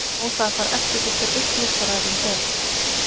Á það að fara eftir því hver uppljóstrarinn er?